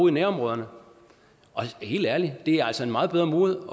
i nærområderne og helt ærligt det er altså en meget bedre måde